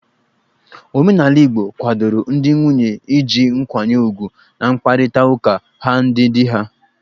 Omenala igbo kwadoro ndị nwunye iji nkwanye ugwu n'mkparịta ụka ha ndị di ha.